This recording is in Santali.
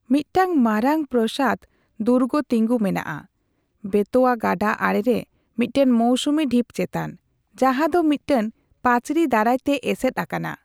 ᱢᱤᱫᱴᱟᱝ ᱢᱟᱨᱟᱝ ᱯᱨᱟᱥᱟᱫᱽ ᱫᱩᱨᱜᱚ ᱛᱤᱸᱜᱩ ᱢᱮᱱᱟᱜᱼᱟ ᱵᱮᱛᱳᱣᱟ ᱜᱟᱰᱟ ᱟᱲᱮ ᱨᱮ ᱢᱤᱫᱴᱟᱝ ᱢᱳᱣᱥᱩᱢᱤ ᱰᱷᱤᱯ ᱪᱮᱛᱟᱱ, ᱡᱟᱸᱦᱟ ᱫᱚ ᱢᱤᱫᱴᱟᱝ ᱯᱟᱹᱪᱨᱤ ᱫᱟᱨᱟᱭ ᱛᱮ ᱮᱥᱮᱫ ᱟᱠᱟᱱᱟ ᱾